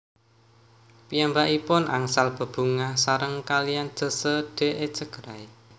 Piyambakipun angsal bebungah sareng kaliyan José de Echegaray